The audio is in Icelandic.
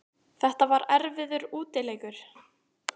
Þetta var erfiður útileikur